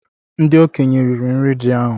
Ndị okenye riri nri ji ahú